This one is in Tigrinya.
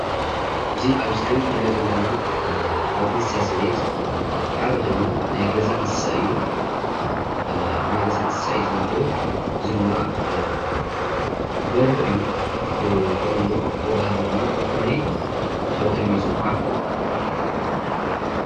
እዚ አብ ስክሪን ንሪኦ ዘለና ካብ እንስሳ ዘቤት ሓደ ኮይኑ ናይገዛ እንስሳ እዩ። አብ ናይ ገዛ እንስሳ እዩ ዝምደብ። ኤእዚ ድማደርሆ እዩ ።ብተለምዶ ኻኩናይ ተባሂሉ ይፅዋዕ።